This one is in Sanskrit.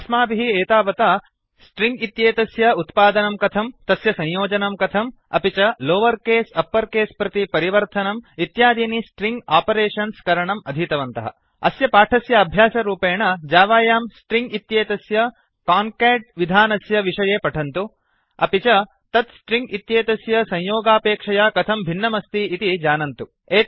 अस्माभिः एतावता स्ट्रिङ्ग् इत्येतस्य उत्पादनं कथम् तस्य संयोजनं कथं अपि च लोवर् केस् अप्पर् केस् प्रति परिवर्तनम् इत्यादीनि स्ट्रिङ्ग् आपरेषन्स् करणम् अधीतवन्तः अस्य पाठस्य अभ्यासरूपेण जावायां स्ट्रिङ्ग् इत्येतस्य कान्काट् काङ्केट् विधानस्य विषये पठन्तु अपि च तत् स्ट्रिङ्ग् इत्येतस्य संयोगापेक्षया कथं भिन्नमस्ति इति जानन्तु